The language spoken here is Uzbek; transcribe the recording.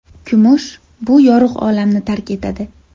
Kumush bu yorug‘ olamni tark etadi.